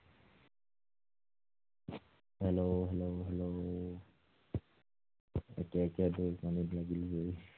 hello hello hello একে একে দুই, জুই।